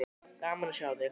Gaman að sjá þig.